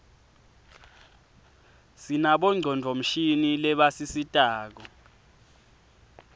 sinabo ngcondvomshini lebasisitako